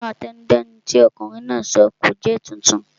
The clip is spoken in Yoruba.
Ìtàn àtẹnudẹ́nu tí ọ̀kunrin náà sọ kò jẹ́ titun